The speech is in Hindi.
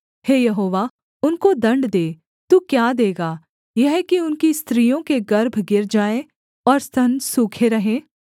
हे यहोवा उनको दण्ड दे तू क्या देगा यह कि उनकी स्त्रियों के गर्भ गिर जाएँ और स्तन सूखे रहें